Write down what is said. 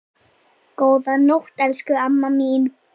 Góða nótt, elsku amma mín.